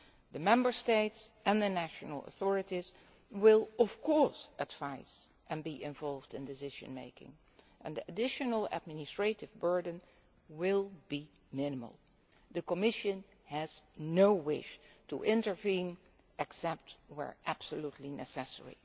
The Member States and the national authorities will, of course, advise and will be involved in decision making, and the additional administrative burden will be minimal. The Commission has no wish to intervene except where that is absolutely